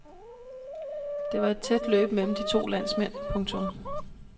Det var et tæt løb mellem de to landsmænd. punktum